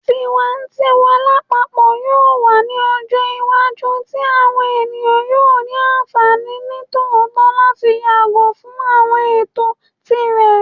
Tiwantiwa lapapọ yoo wa ni ọjọ iwaju ti awọn eniyan yoo ni anfani nitootọ lati yago fun awọn ẹtọ tirẹ